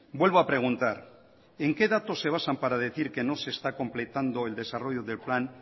vuelvo a preguntar en qué datos se basan para decir que no se está completando el desarrollo del plan